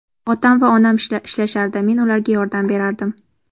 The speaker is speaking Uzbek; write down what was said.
Otam va onam ishlashardi, men ularga yordam berardim.